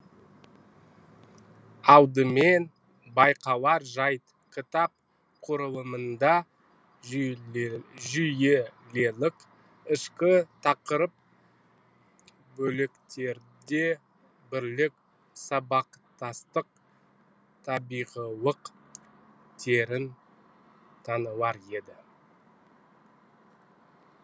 алдымен байқалар жайт кітап құрылымында жүйелілік ішкі тақырып бөліктерде бірлік сабақтастық табиғилық терең танылар еді